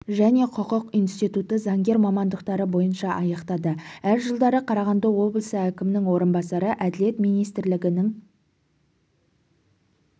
және құқық институты заңгер мамандықтары бойынша аяқтады әр жылдары қарағанды облысы әкімінің орынбасары әділет министрлігідін